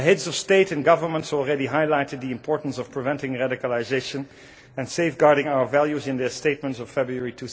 The Heads of State and Government already highlighted the importance of preventing radicalisation and safeguarding our values in their statements of February